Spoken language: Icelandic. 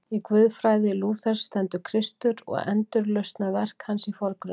Í guðfræði Lúthers stendur Kristur og endurlausnarverk hans í forgrunni.